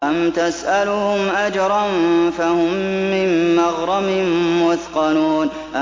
أَمْ تَسْأَلُهُمْ أَجْرًا فَهُم مِّن مَّغْرَمٍ مُّثْقَلُونَ